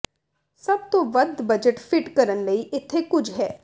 ਸਭ ਤੋਂ ਵੱਧ ਬਜਟ ਫਿੱਟ ਕਰਨ ਲਈ ਇੱਥੇ ਕੁਝ ਹੈ